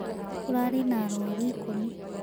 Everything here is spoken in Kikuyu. Kũrarĩ na arũaru ikũmi.